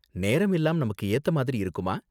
நேரம் எல்லாம் நமக்கு ஏத்த மாதிரி இருக்குமா?